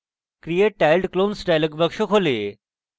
create tiled clones dialog box খোলে